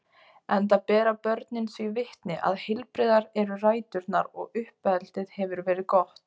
enda bera börnin því vitni að heilbrigðar eru ræturnar og uppeldið hefur verið gott.